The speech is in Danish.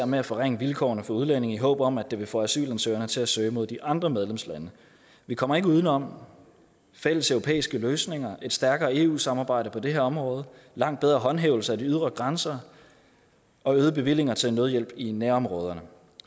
med at forringe vilkårene for udlændinge i håb om at det vil få asylansøgerne til at søge mod de andre medlemslande vi kommer ikke uden om fælleseuropæiske løsninger og et stærkere eu samarbejde på det her område langt bedre håndhævelse af de ydre grænser og øgede bevillinger til nødhjælp i nærområderne